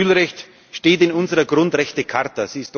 Das Asylrecht steht in unserer Grundrechtecharta.